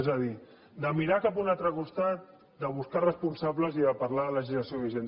és a dir mirar cap a un altre costat buscar responsables i parlar de legislació vigent